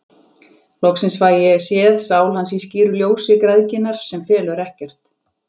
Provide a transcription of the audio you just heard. Loksins fæ ég séð sál hans í skýru ljósi græðginnar, sem felur ekkert.